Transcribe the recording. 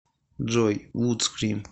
джой вудскрим